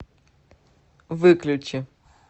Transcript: выключи